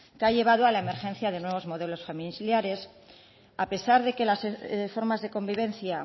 que ha llevado a la emergencia de nuevos modelos familiares a pesar de que las formas de convivencia